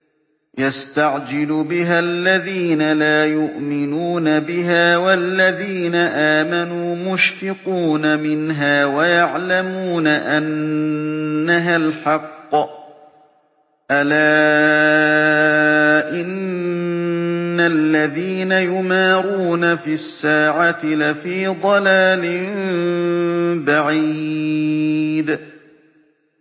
يَسْتَعْجِلُ بِهَا الَّذِينَ لَا يُؤْمِنُونَ بِهَا ۖ وَالَّذِينَ آمَنُوا مُشْفِقُونَ مِنْهَا وَيَعْلَمُونَ أَنَّهَا الْحَقُّ ۗ أَلَا إِنَّ الَّذِينَ يُمَارُونَ فِي السَّاعَةِ لَفِي ضَلَالٍ بَعِيدٍ